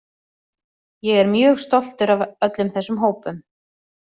Ég er mjög stoltur af öllum þessum hópum.